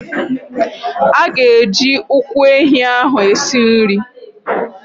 A ga-eji ụkwụ ehi ahụ esi nri.